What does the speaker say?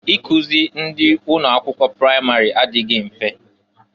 Ikuzi ndị ụnọ akwụkwọ pramarị adịghị mfe.